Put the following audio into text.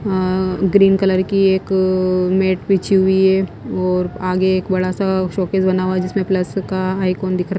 अ green colour की एक mat बीछी हुई है और आगे एक बड़ा सा शोकेज बना हुआ है जिसमें प्लस का आइकॉन दिख रहा हैं।